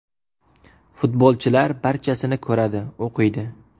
Futbolchilar barchasini ko‘radi, o‘qiydi.